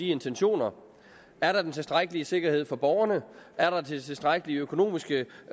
intentionerne er der den tilstrækkelige sikkerhed for borgerne er der tilstrækkeligt med økonomisk